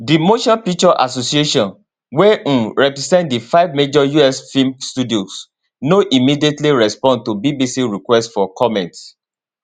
di motion picture association wey um represent di five major us film studios no immediately respond to bbc requests for comment